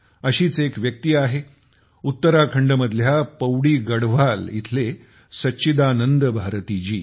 अशीच एक व्यक्ती आहे उत्तराखंड मधल्या पौड़ी गढ़वाल इथले सच्चिदानंद भारती जी